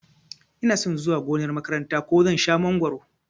Inason zuwa gonar makaranta ko zan shan mangoro